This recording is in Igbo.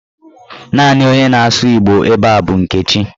Naanị onye na-asụ Igbo ebe a bụ Nkechi.